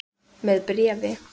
Með bréfi.